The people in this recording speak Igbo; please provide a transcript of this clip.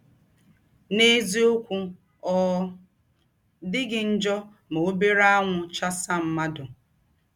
N’eziọkwụ, ọ dịghị njọ ma ọbere anwụ chasa mmadụ.